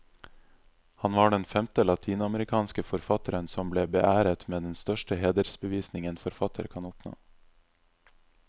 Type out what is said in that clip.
Han var den femte latinamerikanske forfatteren som ble beæret med den største hedersbevisning en forfatter kan oppnå.